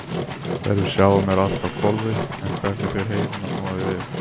Þegar við sjáum er allt á hvolfi en hvernig fer heilinn að snúa því við?